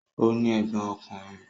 Ó ní ẹ̀gbọ́n ọkùnrin.